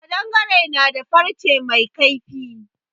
Ƙadangare na da farce mai kaifi.